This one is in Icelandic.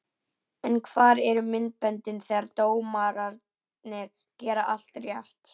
En hvar eru myndböndin þegar dómararnir gera allt rétt?